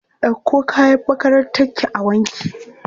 Ɗauko kayan makarantarki a wanke!